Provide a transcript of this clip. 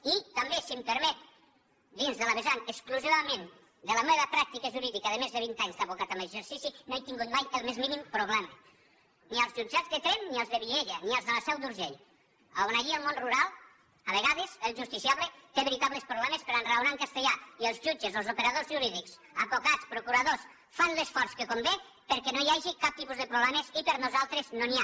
i també si em permet dins del vessant exclusivament de la meva pràctica jurídica de més de vint anys d’advocat en exercici no he tingut mai el més mínim problema ni als jutjats de tremp ni als de vielha ni als de la seu d’urgell on allí al món rural a vegades el justiciable té veritables problemes per a enraonar en castellà i els jutges o els operadors jurídics advocats procuradors fan l’esforç que convé perquè no hi hagi cap tipus de problemes i per nosaltres no n’hi ha